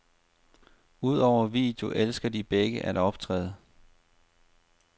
Udover video elsker de begge at optræde.